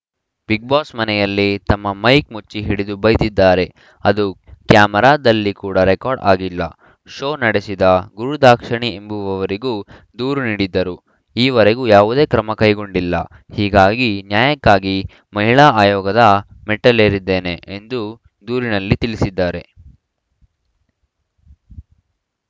Bigg Boss ಮನೆಯಲ್ಲಿ ತಮ್ಮ mic ಮುಚ್ಚಿ ಹಿಡಿದು ಬೈದಿದ್ದಾರೆ ಅದು ಕ್ಯಾಮೆರಾದಲ್ಲಿ ಕೂಡ ರೆಕಾರ್ಡ್‌ ಆಗಿಲ್ಲ ಶೋ ನಡೆಸಿದ ಗುರುದಾಕ್ಷಣಿ ಎಂಬುವವರಿಗೂ ದೂರು ನೀಡಿದ್ದರೂ ಈವರೆಗೂ ಯಾವುದೇ ಕ್ರಮ ಕೈಗೊಂಡಿಲ್ಲ ಹೀಗಾಗಿ ನ್ಯಾಯಕ್ಕಾಗಿ ಮಹಿಳಾ ಆಯೋಗದ ಮೆಟ್ಟಲೇರಿದ್ದೇನೆ ಎಂದು ದೂರಿನಲ್ಲಿ ತಿಳಿಸಿದ್ದಾರೆ